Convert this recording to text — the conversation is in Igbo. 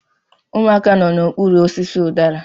Ụmụaka nọ n'okpuru osisi udara